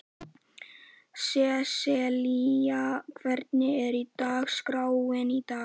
Sesselía, hvernig er dagskráin í dag?